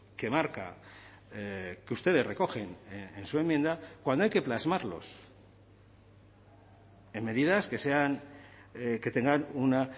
que marca que ustedes recogen en su enmienda cuando hay que plasmarlos en medidas que sean que tengan una